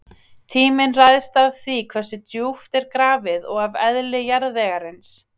Tíminn ræðst af því hversu djúpt er grafið og af eðli jarðvegarins.